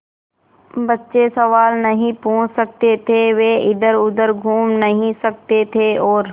बच्चे सवाल नहीं पूछ सकते थे वे इधरउधर घूम नहीं सकते थे और